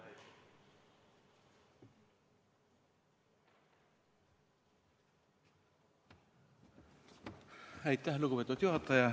Aitäh, lugupeetud juhataja!